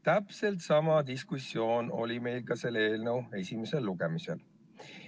Täpselt sama diskussioon oli meil ka selle eelnõu esimesel lugemisel.